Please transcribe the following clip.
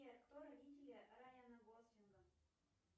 сбер кто родители райана гослинга